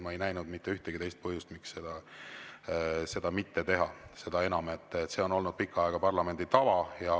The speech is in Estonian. Ma ei näinud mitte ühtegi põhjust, miks seda mitte teha, seda enam, et see on olnud pikka aega parlamendi tava.